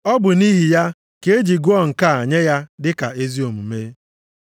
Ọ bụ nʼihi ya ka e ji gụọ nke a nye ya dị ka ezi omume. + 4:22 \+xt Jen 15:6\+xt*